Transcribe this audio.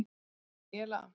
Daníela